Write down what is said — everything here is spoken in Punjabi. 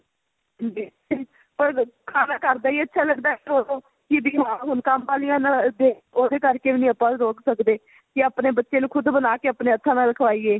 ਪਰ ਖਾਣਾ ਘਰ ਦਾ ਹੀ ਅੱਛਾ ਲੱਗਦਾ ਹੈ ਉਹਨੂੰ ਕਿਹਦੀ ਮਾਂ ਹੁਣ ਕੰਮ ਵਾਲੀਆ ਨਾਲ ਦੇ ਉਹਦੇ ਕਰ ਕੇ ਵੀ ਨਹੀਂ ਆਪਾਂ ਰੋਕ ਸਕਦੇ ਕੀ ਆਪਣੇ ਬੱਚੇ ਨੂੰ ਖੁੱਦ ਬਣਾਕੇ ਆਪਣੇ ਹੱਥਾ ਨਾਲ ਖਵਾਈਏ